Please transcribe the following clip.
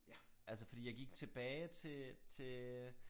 Altså fordi jeg gik tilbage til til øh